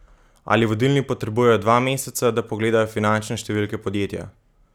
Ali vodilni potrebujejo dva meseca, da pogledajo finančne številke podjetja?